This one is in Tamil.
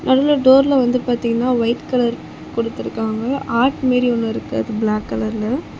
நடுவுல டோர்ல வந்து பாத்தீங்கன்னா ஒயிட் கலர் குடுத்துருக்காங்க ஹார்ட் மேரி ஒன்னு இருக்கு அதுல பிளாக் கலர்ல .